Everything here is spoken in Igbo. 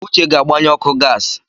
Uche ga-agbanye ọkụ gas.